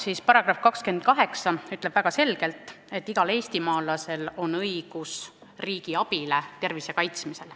Selle § 28 ütleb väga selgelt, et igal eestimaalasel on õigus riigi abile tervise kaitsmisel.